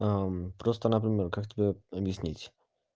просто например как тебе объяснить